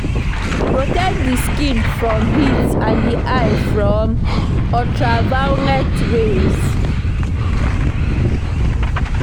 Protect di skin from heat and di eye from ultra violet rays